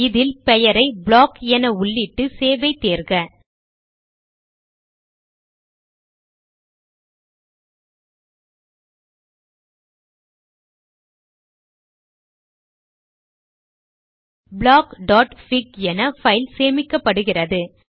இதில் பெயரை ப்ளாக் என உள்ளிட்டு சேவ் ஐ தேர்க blockபிக் என பைல் சேமிக்கப்படுகிறது